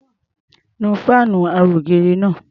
Nu fáànù ara-ògiri náá̀.